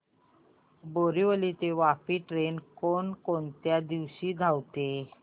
बोरिवली ते वापी ट्रेन कोण कोणत्या दिवशी धावते